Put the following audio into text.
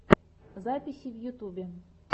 записи в ютьюбе